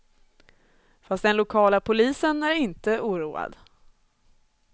Fast den lokala polisen är inte oroad.